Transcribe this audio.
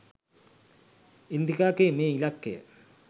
ඉන්දිකාගේ මේ ඉලක්කය?